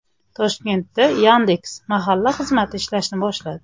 Toshkentda Yandex.Mahalla xizmati ishlashni boshladi.